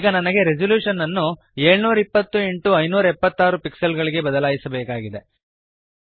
ಈಗ ನನಗೆ ರೆಸಲ್ಯೂಶನ್ ಅನ್ನು 720 x 576 ಪಿಕ್ಸೆಲ್ ಗಳಿಗೆ ಬದಲಾಯಿಸಬೇಕಾಗಿದೆ